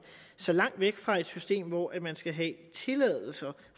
så langt væk fra et system hvor man skal have tilladelser